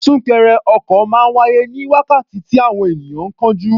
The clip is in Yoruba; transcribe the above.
Súnkẹrẹ ọkọ̀ máa ń wáyé ní wákàtí tí àwọn ènìyàn ń kánjú.